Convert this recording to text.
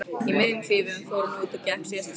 Í miðjum klíðum fór hann út og gekk síðasta spölinn.